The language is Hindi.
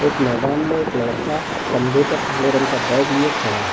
एक मैदान में एक लड़का कंधे पर काले रंग का बैग लिए खड़ा है।